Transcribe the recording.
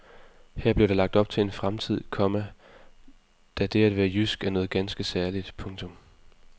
Her blev der lagt op til en fremtid, komma da det at være jysk er noget ganske særligt. punktum